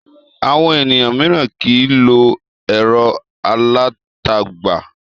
Àwọn ènìyàn mìíràn kì í lo ẹ̀rọ alátagbà.